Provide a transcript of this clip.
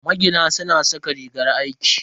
Magina suna saka rigar aiki.